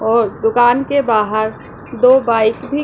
और दुकान के बाहर दो बाइक भी--